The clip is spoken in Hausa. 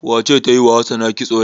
Wace ce ta yi wa Hassana kitso yau?